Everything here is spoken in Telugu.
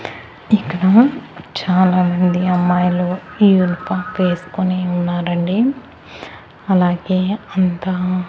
ఇక్కడ చాలామంది అమ్మాయిలు ఇయర్ పంప్ ఎస్కొని ఉన్నారండి అలాగే అంతా --